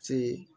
Se